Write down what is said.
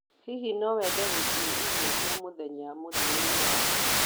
Hihi no wende gũthiĩ irio cia mũthenya mũthia-inĩ wa kiumia